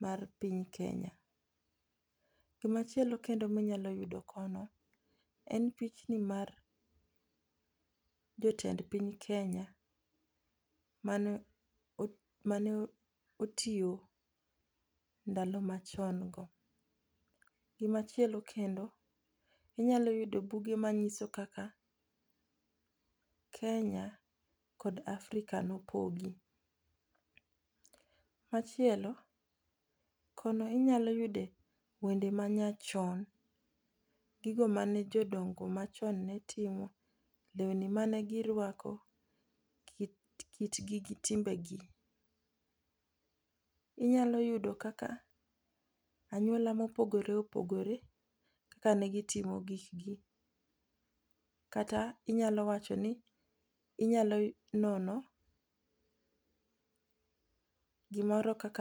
mar piny Kenya. Gima chielo kendo minyalo yudo kono en pichni [cs6 mar jotend piny Kenya, mane mane otiyo ndalo machon go. Gimachielo kendo, inyalo yudo buge manyiso kaka Kenya kod Africa nopogi. Machielo kono inyalo yude wende ma nyachon. Gigo ma jodongo machon ne timo, lewni mane giruako, kitgi gi timbegi. Inyalo yudo kaka anyuola mopogore opogore ne gitimo gik gi. Kata inyalo wachoni, inyalo nonogimoro kaka